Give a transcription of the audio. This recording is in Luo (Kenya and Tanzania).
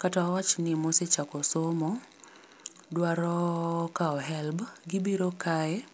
kata wawach ni mosechako somo dwaro kawo helb, gibiro kae